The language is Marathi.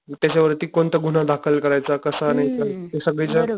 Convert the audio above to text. त्याच्या वरती कोणता गुन्हा दाखल करायचा कसा करायचा ते सगळी जी ,